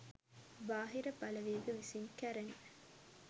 බාහිර බලවේග විසින් කැරෙන